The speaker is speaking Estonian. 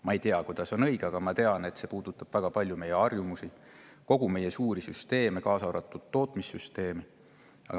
Ma ei tea, kuidas on õige, aga ma tean, et see puudutab väga palju meie harjumusi, meie suuri süsteeme, kaasa arvatud tootmissüsteemi.